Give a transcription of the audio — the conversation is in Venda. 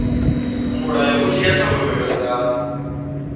mulayo u dzhia thogomelo dza